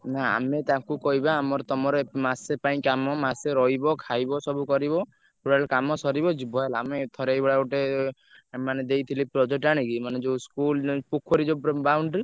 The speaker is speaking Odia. ନା ଆମେ ତାଙ୍କୁ କହିବା ଆମର ତମର ମାସେ ପାଇଁ କାମ ମାସେ ରହିବ ଖାଇବ ସବୁ କରିବ totally କାମ ସରିବ ଯିବ ହେଲା ଆମେ ଥରେ ଏଇଭଳିଆ ଗୋଟେ ମାନେ ଦେଇଥିଲି ଗୋଟେ project ଆଣିକି ମାନେ ଯୋଉ school ପୋଖରି ଯୋଉ boundary ।